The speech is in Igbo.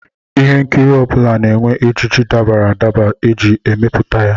Ihe nkiri ọ bụla na-enwe ejiji dabara adaba e ji emepụta ya